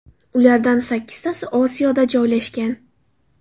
Ulardan sakkiztasi Osiyoda joylashgan.